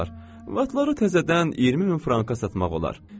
Atları təzədən 20 min franka satmaq olar.